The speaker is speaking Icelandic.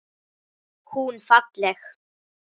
Hún falleg.